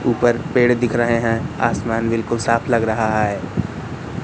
ऊपर पेड़ दिख रहे हैं आसमान बिल्कुल साफ लग रहा है।